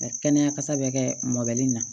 Kɛnɛya kasa bɛ kɛ mɔbili in na